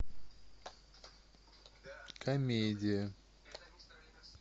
комедия